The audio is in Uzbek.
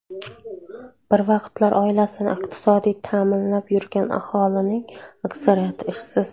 Bir vaqtlar oilasini iqtisodiy ta’minlab yurgan aholining aksariyati ishsiz.